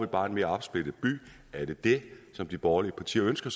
bare en mere opsplittet by er det det som de borgerlige partier ønsker